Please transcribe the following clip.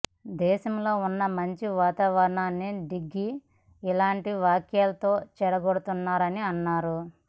దేశంలో ఉన్న మంచి వాతావరణాన్ని డిగ్గీ ఇలాంటి వ్యాఖ్యలతో చెడగొడుతున్నారని అన్నారు